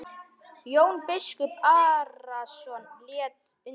Jón biskup Arason lét undan.